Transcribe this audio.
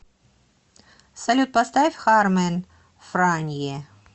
салют поставь хармэн франье